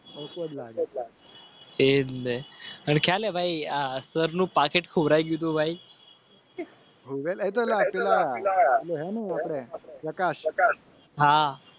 અસરનું પાકીટ હા